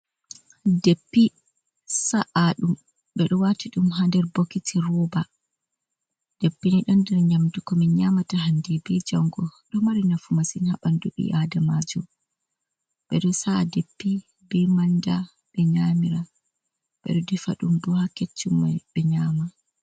Deppi sa’a ɗum, ɓeɗo wati ɗum ha nder bokiti roba, deppi ni ɗo nder nyamdu ko min nyamata hande be jango, ɗo mari nafu masin ha ɓandu ɓi ada maju, ɓeɗo sa’a deppi ni be manda, ɓe ɓeɗo defa ɗum bo ha keccumm ɓe nyama.